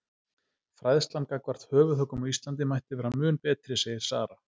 Fræðslan gagnvart höfuðhöggum á Íslandi mætti vera mun betri segir Sara.